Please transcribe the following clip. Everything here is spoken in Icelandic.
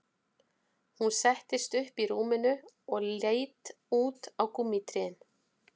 Hún settist upp í rúminu og leit út á gúmmítrén